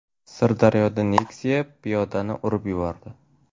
Sirdaryoda Nexia piyodani urib yubordi.